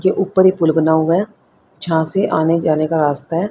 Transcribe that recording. के ऊपर पुल बना हुआ है जहां से आने जाने का रास्ता है।